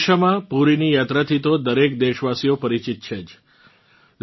ઓડિસામાં પૂરીની યાત્રાથી તો દરેક દેશવાસી પરિચિત જ છે